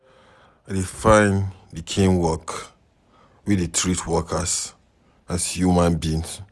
I dey find di kain work wey dey treat workers as human beings.